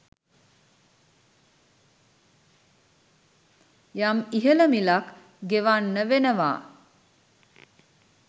යම් ඉහළ මිලක් ගෙවන්න වෙනවා.